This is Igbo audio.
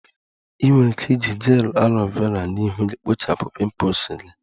Ị nwere ike iji gel aloe Vera na ihu gị kpochapụ pimples gị